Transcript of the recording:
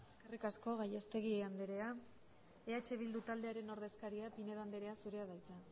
eskerrik asko gallastegui andrea eh bildu taldearen ordezkaria pinedo andrea zurea da hitza